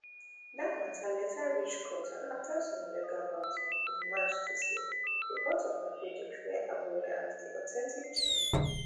dat mata later reach court and afta some legal battle in march dis year di court of appeal declare abure as di authentic chairman